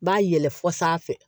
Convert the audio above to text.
B'a yɛlɛ fɔ sanfɛ